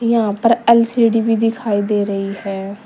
यहां पर एल_सी_डी भी दिखाई दे रही है।